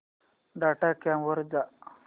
dot com वर जा